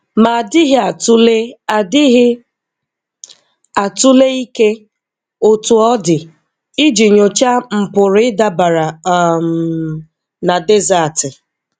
Ma adịghị atụle adịghị atụle ike, Otú ọ dị, iji nyochaa mpụrụ ịdabere um na dezatị.